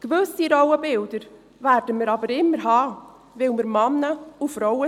Gewisse Rollenbilder werden wir aber immer haben, weil wir Frauen und Männer sind.